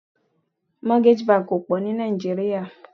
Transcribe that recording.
Mortgage banki kò pọ̀ ní Naijiria.